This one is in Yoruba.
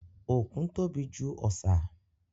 Òkun tóbi jù ọ̀sà.